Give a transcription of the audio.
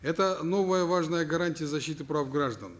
это новая важная гарантия защиты прав граждан